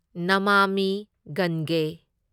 ꯅꯃꯥꯃꯤ ꯒꯟꯒꯦ